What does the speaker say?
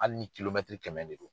Hali ni kɛmɛ de do.